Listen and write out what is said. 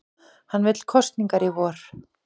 Hann vill kosningar í vor